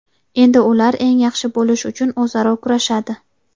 Endi ular eng yaxshi bo‘lish uchun o‘zaro kurashadi.